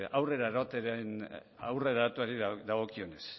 aurrera eramateari dagokionez